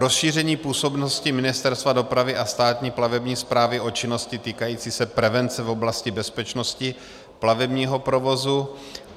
rozšíření působnosti Ministerstva dopravy a Státní plavební správy o činnosti týkající se prevence v oblasti bezpečnosti plavebního provozu;